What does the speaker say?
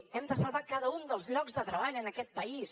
hem de salvar cada un dels llocs de treball en aquest país